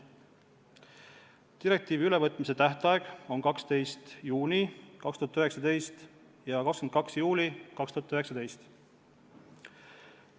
Seaduse jõustumise tähtajad on 12. juuni 2019 ja 22. juuli 2019.